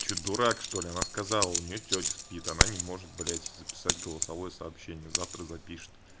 что дурак что ли она сказала у неё тётя спит она не может блядь записать голосовое сообщение завтра запишет